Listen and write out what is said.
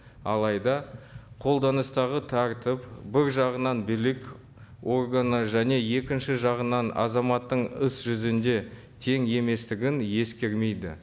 алайда қолданыстағы тәртіп бір жағынан билік органы және екінші жағынан азаматтың іс жүзінде тең еместігін ескермейді